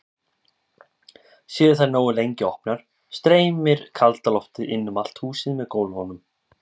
Séu þær nógu lengi opnar streymir kalda loftið inn um allt húsið með gólfunum.